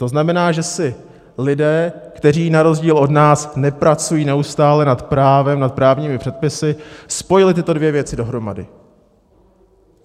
To znamená, že si lidé, kteří na rozdíl od nás nepracují neustále nad právem, nad právními předpisy, spojili tyto dvě věci dohromady.